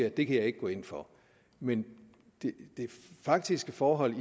at det kan jeg ikke gå ind for men det faktiske forhold